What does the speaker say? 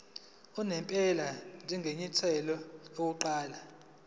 unomphela njengenyathelo lokuqala